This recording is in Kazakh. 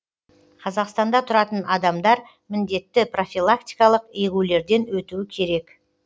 қазақстанда тұратын адамдар міндетті профилактикалық егулерден өтуі керек